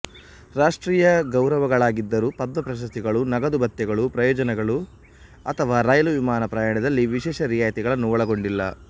ರಾಷ್ಟ್ರೀಯ ಗೌರವಗಳಾಗಿದ್ದರೂ ಪದ್ಮಾ ಪ್ರಶಸ್ತಿಗಳು ನಗದು ಭತ್ಯೆಗಳು ಪ್ರಯೋಜನಗಳು ಅಥವಾ ರೈಲು ವಿಮಾನ ಪ್ರಯಾಣದಲ್ಲಿ ವಿಶೇಷ ರಿಯಾಯಿತಿಗಳನ್ನು ಒಳಗೊಂಡಿಲ್ಲ